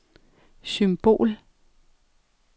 symbol